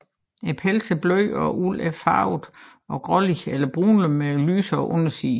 Pelsen er blød og ulden og farvet grålig eller brundlig med lysere underside